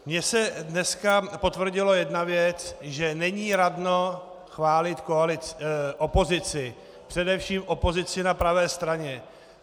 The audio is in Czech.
Mně se dneska potvrdila jedna věc - že není radno chválit opozici, především opozici na pravé straně.